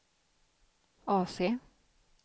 AC